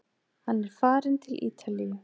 Hann er farinn til Ítalíu!